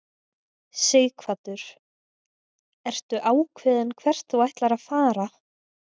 Sighvatur: Ertu ákveðinn hvert þú ætlar að fara?